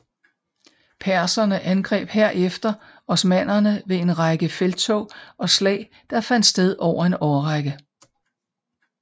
Perserne angreb herefter osmannerne ved en række felttog og slag der fandt sted over en årrække